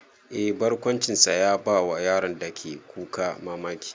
Eh, barkwancinsa ya bawa yaron da ke kuka mamaki.